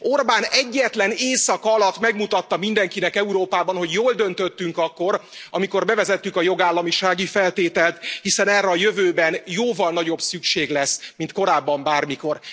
Orbán egyetlen éjszaka alatt megmutatta mindenkinek Európában, hogy jól döntöttünk akkor, amikor bevezettük a jogállamisági feltételt, hiszen erre a jövőben jóval nagyobb szükség lesz, mint korábban bármikor.